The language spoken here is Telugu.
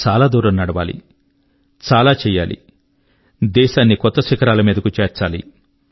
చాలా దూరం నడవాలి చాలా చేయాలి దేశాన్ని కొత్త శిఖరాల మీదకు చేర్చాలి